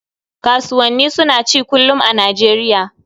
Kasuwannani suna ci kullum a Nijeriya